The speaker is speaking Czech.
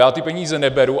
Já ty peníze neberu.